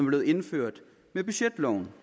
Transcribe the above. blevet indført med budgetloven